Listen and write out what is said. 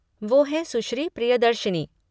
वो हैं सुश्री प्रियदर्शिनी।